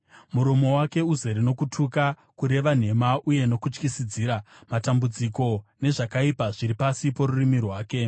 Muromo wake uzere nokutuka, kureva nhema, uye nokutyisidzira; matambudziko nezvakaipa zviri pasi porurimi rwake.